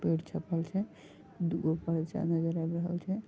पेड़ छपल छै दूगो परचा नजर आब रहल छै।